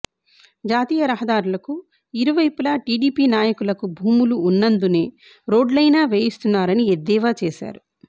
జాతీయరహదారులకు ఇరువైపులా టీడీపీ నాయకులకు భూములు ఉన్నందునే రోడ్లయినా వేయిస్తున్నారని ఎద్దేవా చేశారు